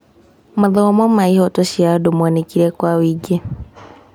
Mathomo ma ihooto cia andũ monekire kwa wĩingĩ.